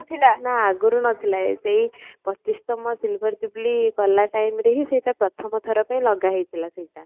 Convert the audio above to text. ନା ଆଗରୁ ନଥିଲା ଏବେ ହିଁ ପଚିଶ ତମ silver ଜୁବୁଲି କଲା timeରେ ହିଁ ସେଇଟା ପ୍ରଥମ ଥର ପାଇଁ ଲଗା ହେଇଥିଲା ସେଇଟା